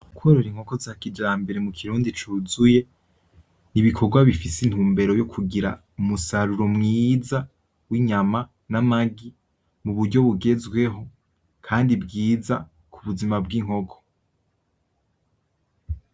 Korora inkoko za kijambere mu kirundi cuzuye, n'ibikogwa bifise intumbero yo kugira umusaruro mwiza w'inyama; n'amagi, mu buryo bugezweho kandi bwiza ku buzima bw'inkoko.